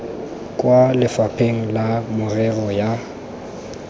kwa lefapheng la merero ya